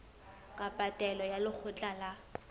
kapa taelo ya lekgotla la